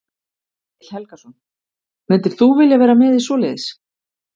Egill Helgason: Myndir þú vilja vera með í svoleiðis?